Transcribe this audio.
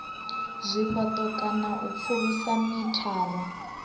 zwifhato kana u pfulusa mithara